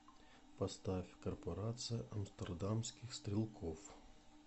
поставь корпорация амстердамских стрелков